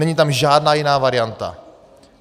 Není tam žádná jiná varianta.